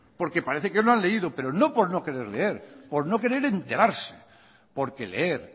porque parece que no han leído pero no por no querer leer por no querer enterarse porque leer